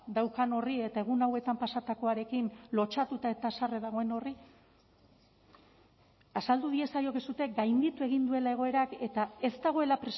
daukan horri eta egun hauetan pasatakoarekin lotsatuta eta haserre dagoen horri azaldu diezaiokezue gainditu egin duela egoerak eta ez dagoela